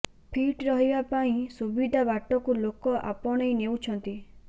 fit ରହିବା ପାଇଁ ସୁବିଧା ବାଟକୁ ଲୋକ ଆପଣେଇ ନେଉଛନ୍ତି